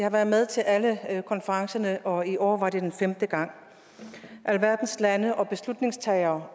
har været med til alle konferencerne og i år var det femte gang alverdens lande og beslutningstagere